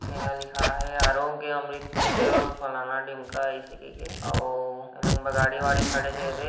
एहा लिखाए हे आरोग्य अमृत तुल्य अऊ फलाना ढिमका अइसे कईके अऊ लंबा गाड़ी वाड़ी खड़े हे एदे--